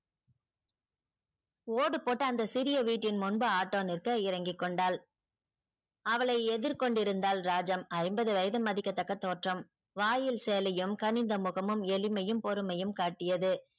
ஓடு போட்ட அந்த சிறிய வீட்டின் முன்பு auto நிற்க இறங்கிக் கொண்டாள். அவளை எதிர் கொண்டிருந்தாள் ராஜம் ஐம்பது வயது மதிக்கத்தக்க தோற்றம் வாயில் சேலையும் கணிந்த முகமும் எளிமையும் பெருமையும் காட்டியது.